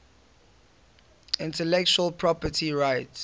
intellectual property rights